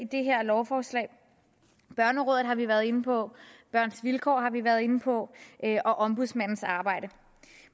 det her lovforslag børnerådet har vi været inde på børns vilkår har vi været inde på og ombudsmandens arbejde